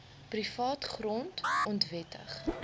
privaat grond onwettig